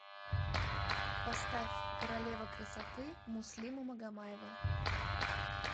поставь королева красоты муслима магомаева